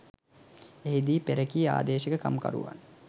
එහිදී පෙරකී ආදේශක කමිකරුවන්